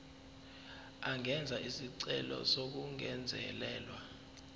angenza isicelo sokungezelelwa